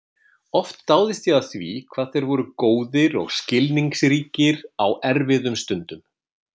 Oft dáðist ég að því hvað þeir voru góðir og skilningsríkir á erfiðum stundum.